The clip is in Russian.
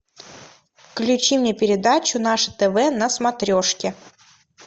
включи мне передачу наше тв на смотрешке